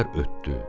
İllər ötdü.